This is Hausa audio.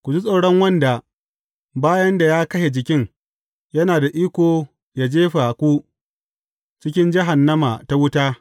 Ku ji tsoron wanda, bayan da ya kashe jikin, yana da iko ya jefa ku cikin jahannama ta wuta.